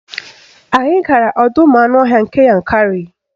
Anyị gara ọdọụmụanụọhịa nke Yankarị